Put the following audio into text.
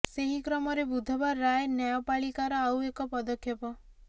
ସେହି କ୍ରମରେ ବୁଧବାର ରାୟ ନ୍ୟାୟପାଳିକାର ଆଉ ଏକ ପଦକ୍ଷେପ